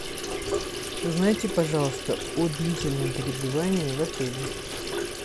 узнайте пожалуйста о длительном пребывании в отеле